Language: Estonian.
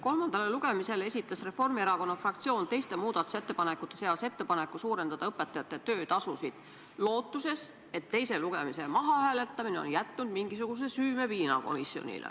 Kolmandale lugemisele esitas Reformierakonna fraktsioon teiste muudatusettepanekute seas ettepaneku suurendada õpetajate töötasu, lootuses, et teise lugemise ajal toimunud mahahääletamine on tekitanud komisjonis mingisugust süümepiina.